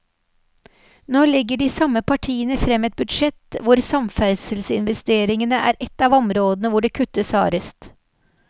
Nå legger de samme partiene frem et budsjett hvor samferdselsinvesteringene er ett av områdene hvor det kuttes hardest.